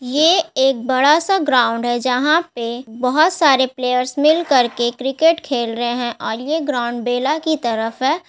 ये एक बड़ा-सा ग्राउंड है जहां पे बहुत सारे प्लेयर्स मिलकर क्रिकेट खेल रहे हैं और ये ग्राउंड बेला की तरफ है।